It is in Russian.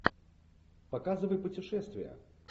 показывай путешествия